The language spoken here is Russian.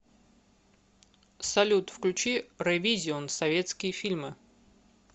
салют включи рэвизион советские фильмы